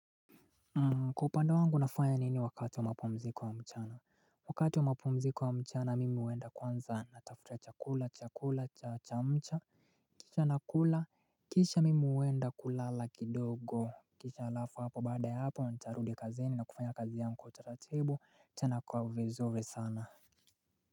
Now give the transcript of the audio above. Kupanda wangu nafanya nini wakati wa mapomziko wa mchana. Wakati wa mapomziko wa mchana mimi uenda kwanza natafutia chakula chakula cha cha mcha. Kisha nakula kisha mimi uenda kulala kidogo. Kisha alafu hapo bada ya hapo ntarudi kazi ni na kufanya kazi ya mkotata table chana kwa vizuri sana.